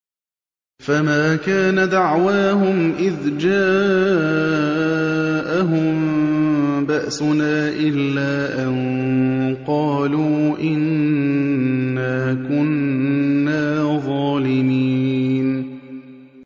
فَمَا كَانَ دَعْوَاهُمْ إِذْ جَاءَهُم بَأْسُنَا إِلَّا أَن قَالُوا إِنَّا كُنَّا ظَالِمِينَ